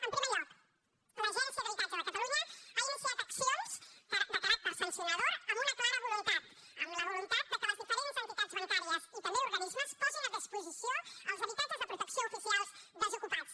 en primer lloc l’agència de l’habitatge de catalunya ha iniciat accions de caràcter sancionador amb una clara voluntat amb la voluntat que les diferents entitats bancàries i també organismes posin a disposició els habitatges de protecció oficial desocupats